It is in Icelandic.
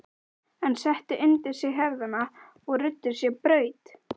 Hann setti undir sig herðarnar og ruddi sér braut.